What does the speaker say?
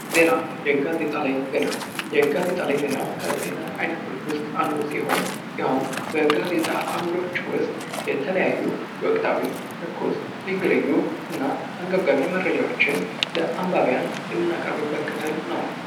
ዘና፦ የጋዜጣ ላይ ዜና፦ የጋዜጣ ላይ ዜና ከዜና አይነቶች ውስጥ አንዱ ሲሆን ይሀውም በጋዜጣ አምዶች ውስጥ የተለያዩ ወቅታዊ፣ ትኩስ፣ ልዩ ልዩ እና አንገብጋቢ መረጃወችን ለአንባቢያን የምናቀርብበት ክፍል ነው።